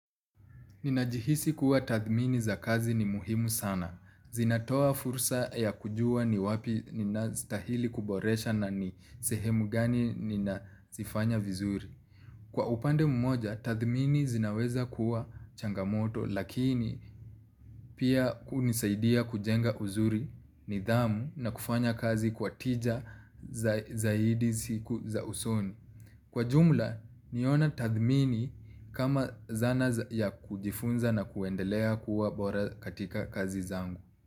Ninajihisi kuwa tathmini za kazi ni muhimu sana. Zinatoa fursa ya kujua ni wapi ninazstahili kuboresha na ni sehemu gani ninazifanya vizuri. Kwa upande mmoja, tathmini zinaweza kuwa changamoto lakini pia kunisaidia kujenga uzuri, nidhamu na kufanya kazi kwa tija zaidi siku za usoni. Kwa jumla niona tadhmini kama zana za ya kujifunza na kuendelea kuwa bora katika kazi zangu.